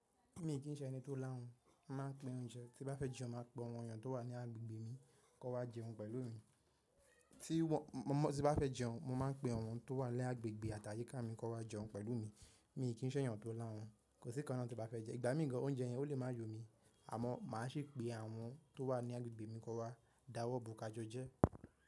Mi kì ń ṣe ẹni tó láhùn, mo màá ń pín oúnjẹ. Tí bá fẹ́ jẹun, màá pe àwọn ènìyàn tó wà ní agbègbè mi kan wá jẹun pẹ̀lú mi. Tí wọ́n, tí n bá fẹ́ jẹun, mo ma ń pè àwọn tó wà ní agbègbè àti àyíká mi kan wá jẹun pẹ̀lú mi mi kì ńṣe ènìyàn tó láhùn. Kò síkan náà tí bá fẹ́ jẹ. Ìgbà míì gan, oúnjẹ yẹn ò lè má yọ mi, àmọ̀ màá sì pe àwọn tó wà ní agbègbè mi kọ wá, dáwọ́ bo ká jọ jẹ.